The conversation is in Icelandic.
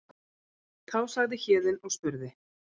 Þá sagði Héðinn og spurði